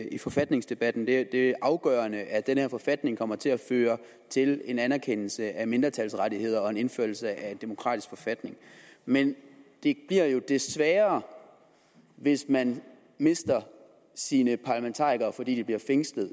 i forfatningsdebatten det er afgørende at den her forfatning kommer til at føre til en anerkendelse af mindretalsrettigheder og en indførelse af en demokratisk forfatning men det bliver jo det sværere hvis man mister sine parlamentarikere fordi de bliver fængslet